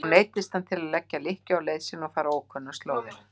Nú neyddist hann til að leggja lykkju á leið sína og fara ókunnar slóðir.